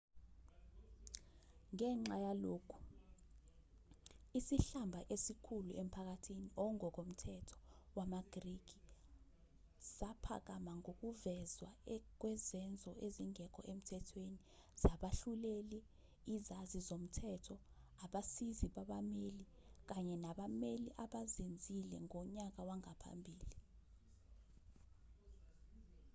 ngenxa yalokhu isihlamba esikhulu emphakathini ongokomthetho wamagriki saphakama ngokuvezwa kwezenzo ezingekho emthethweni zabahluleli izazi zomthetho abasizi babameli kanye nabameli abazenzile ngonyaka wangaphambili